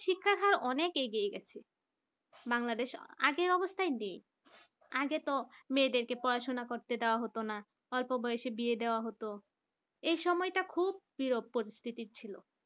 অনেক এগিয়ে গেছে বাংলাদেশ আগের অবস্থায় নেই আগে তো মেয়েদেরকে পড়াশোনা করতে দেওয়া হতো না অল্প বয়সে বিয়ে দেওয়া হতো এই সময়টা খুব অপ্রিয় পরিস্থিতি ছিল